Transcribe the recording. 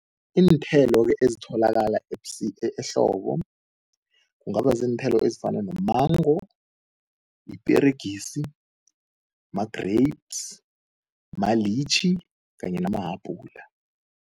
Iinthelo-ke ezitholakala ehlobo kungaba ziinthelo ezifana no-mango, iperegisi, ma-grapes, ma-litchi kanye namahabula.